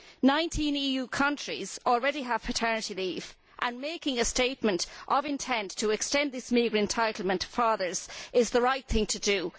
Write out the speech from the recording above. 19 EU countries already have paternity leave, and making a statement of intent to extend this meagre entitlement to fathers is the right thing to do.